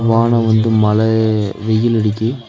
வானோ வந்து மழ வெயில் அடிக்கி.